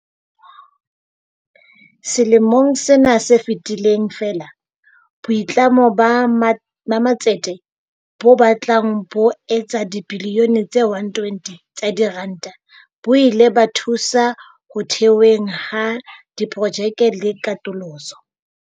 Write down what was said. Selemong sena se fetileng feela, boitlamo ba ma ba matsete bo batlang bo etsa dibilione tse 120 tsa diranta bo ile ba thusa ho theweng ha diprojekte le katoloso.